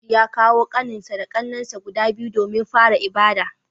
Audu ya kawo kaninsa da kannensa guda biyu domin fara ibada